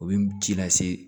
U bɛ ji lase